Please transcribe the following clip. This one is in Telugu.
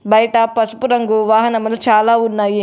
బయట పసుపు రంగు వాహనమును చాలా ఉన్నాయి.